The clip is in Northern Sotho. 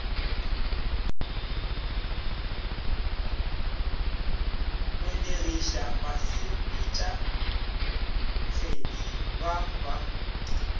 belegiša basepetša kgetsi ba ba